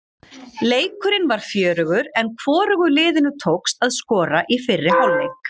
Leikurinn var fjörugur en hvorugu liðinu tókst að skora í fyrri hálfleik.